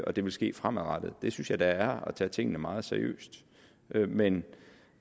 og det vil ske fremadrettet det synes jeg da er at tage tingene meget seriøst men